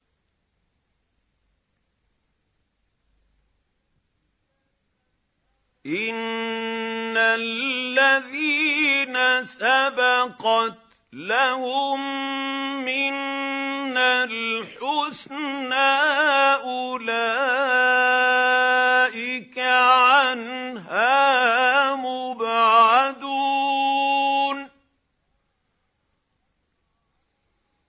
إِنَّ الَّذِينَ سَبَقَتْ لَهُم مِّنَّا الْحُسْنَىٰ أُولَٰئِكَ عَنْهَا مُبْعَدُونَ